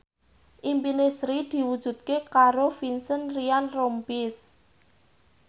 impine Sri diwujudke karo Vincent Ryan Rompies